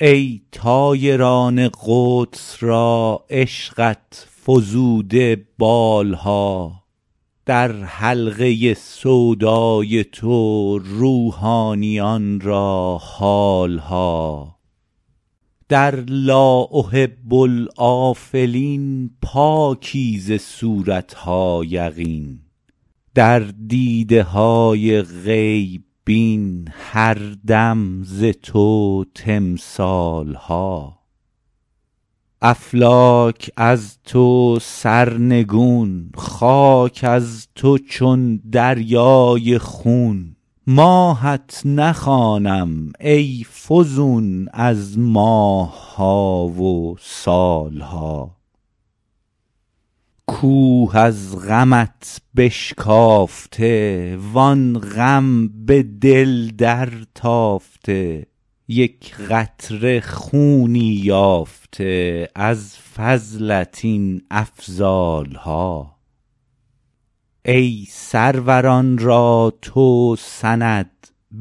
ای طایران قدس را عشقت فزوده بال ها در حلقه سودای تو روحانیان را حال ها در لا احب الآفلین پاکی ز صورت ها یقین در دیده های غیب بین هر دم ز تو تمثال ها افلاک از تو سرنگون خاک از تو چون دریای خون ماهت نخوانم ای فزون از ماه ها و سال ها کوه از غمت بشکافته وان غم به دل درتافته یک قطره خونی یافته از فضلت این افضال ها ای سروران را تو سند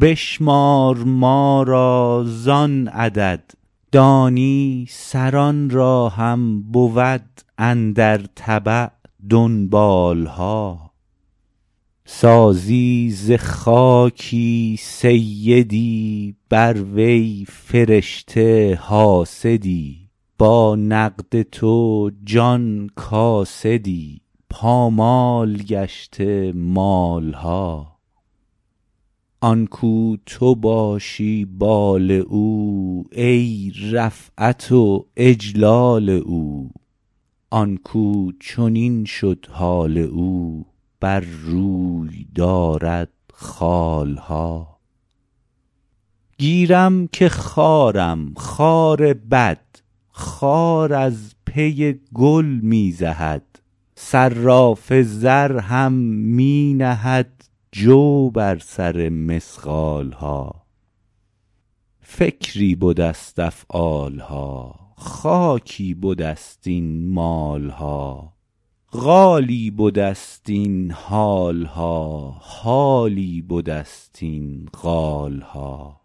بشمار ما را زان عدد دانی سران را هم بود اندر تبع دنبال ها سازی ز خاکی سیدی بر وی فرشته حاسدی با نقد تو جان کاسدی پامال گشته مال ها آن کاو تو باشی بال او ای رفعت و اجلال او آن کاو چنین شد حال او بر روی دارد خال ها گیرم که خارم خار بد خار از پی گل می زهد صراف زر هم می نهد جو بر سر مثقال ها فکری بده ست افعال ها خاکی بده ست این مال ها قالی بده ست این حال ها حالی بده ست این قال ها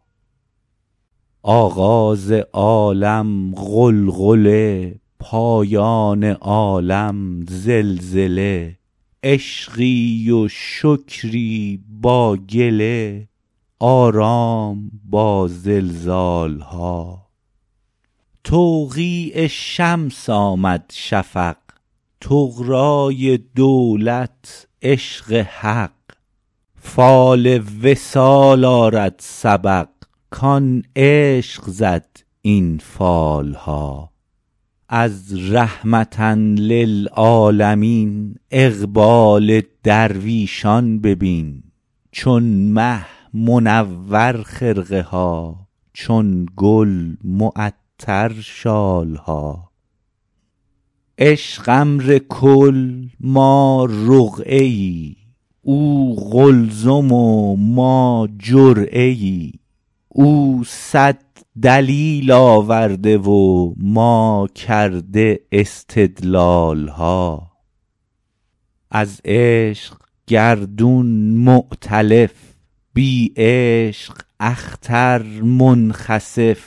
آغاز عالم غلغله پایان عالم زلزله عشقی و شکری با گله آرام با زلزال ها توقیع شمس آمد شفق طغرای دولت عشق حق فال وصال آرد سبق کان عشق زد این فال ها از رحمة للعالمین اقبال درویشان ببین چون مه منور خرقه ها چون گل معطر شال ها عشق امر کل ما رقعه ای او قلزم و ما جرعه ای او صد دلیل آورده و ما کرده استدلال ها از عشق گردون مؤتلف بی عشق اختر منخسف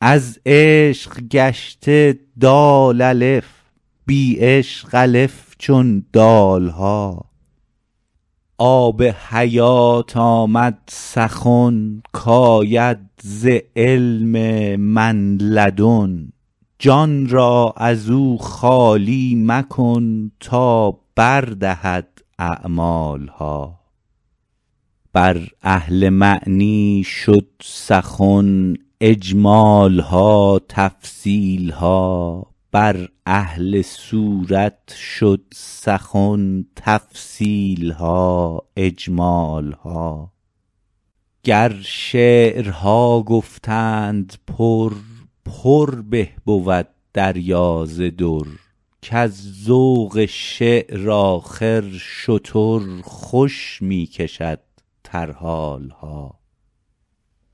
از عشق گشته دال الف بی عشق الف چون دال ها آب حیات آمد سخن کاید ز علم من لدن جان را از او خالی مکن تا بر دهد اعمال ها بر اهل معنی شد سخن اجمال ها تفصیل ها بر اهل صورت شد سخن تفصیل ها اجمال ها گر شعرها گفتند پر پر به بود دریا ز در کز ذوق شعر آخر شتر خوش می کشد ترحال ها